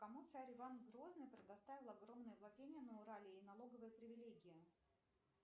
кому царь иван грозный предоставил огромные владения на урале и налоговые привелегии